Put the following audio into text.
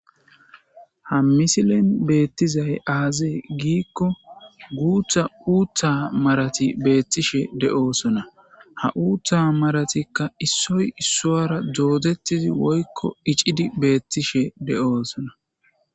ha misilen beettizay aazee giikko guutha uutha marati beettishe de'oosona ha uutha maratikka issoy issuwara doodettizi woykko icidi beettishe de'oosona